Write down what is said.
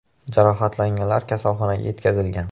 Jarohatlanganlar kasalxonaga yetkazilgan.